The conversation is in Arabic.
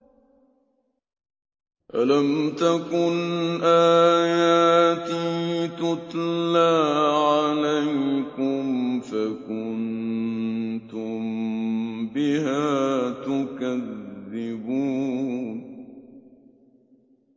أَلَمْ تَكُنْ آيَاتِي تُتْلَىٰ عَلَيْكُمْ فَكُنتُم بِهَا تُكَذِّبُونَ